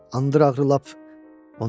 Andırır ağrır lap.